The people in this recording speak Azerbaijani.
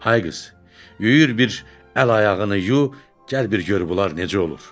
Ay qız, yuyur bir əl-ayağını yu, gəl bir gör bunlar necə olur.